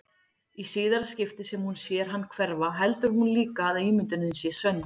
Í síðara skiptið sem hún sér hann hverfa heldur hún líka að ímyndunin sé sönn.